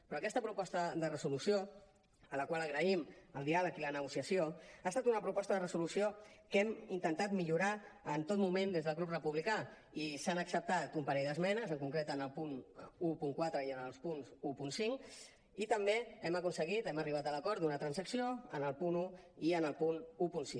però aquesta proposta de resolució a la qual agraïm el diàleg i la negociació ha estat una proposta de resolució que hem intentat millorar en tot moment des del grup republicà i s’han acceptat un parell d’esmenes en concret en el punt catorze i en el punt quinze i també hem aconseguit hem arribat a l’acord d’una transacció en el punt un i en el punt setze